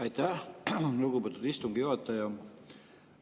Aitäh, lugupeetud istungi juhataja!